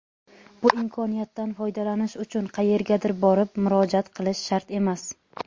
Bu imkoniyatdan foydalanish uchun qayergadir borib murojaat qilish shart emas.